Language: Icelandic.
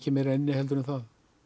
meira inni en það